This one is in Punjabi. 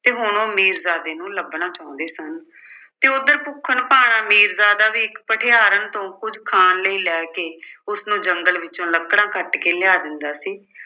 ਤੇ ਹੁਣ ਉਹ ਮੀਰਜ਼ਾਦੇ ਨੂੰ ਲੱਭਣਾ ਚਾਹੁੰਦੇ ਸਨ ਤੇ ਉੱਧਰ ਭੁੱਖਣ-ਭਾਣਾ ਮੀਰਜ਼ਾਦਾ ਵੀ ਇੱਕ ਭਠਿਆਰਨ ਤੋਂ ਕੁੱਝ ਖਾਣ ਲਈ ਲੈ ਕੇ ਉਸਨੂੰ ਜੰਗਲ ਵਿੱਚੋਂ ਲੱਕੜਾਂ ਕੱਟ ਕੇ ਲਿਆ ਦਿੰਦਾ ਸੀ